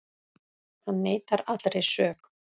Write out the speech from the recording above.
Hann neitar allri sök